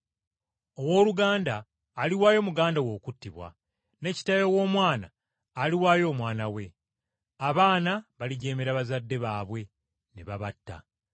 “Owooluganda aliwaayo muganda we okuttibwa, ne kitaawe w’omwana aliwaayo omwana we. Abaana balijeemera bazadde baabwe ne babatta.